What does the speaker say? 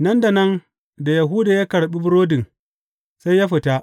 Nan da nan da Yahuda ya karɓi burodin, sai ya fita.